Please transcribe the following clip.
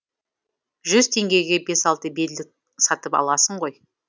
жүз теңгеге бес алты белдік сатып аласың ғой